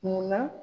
Munna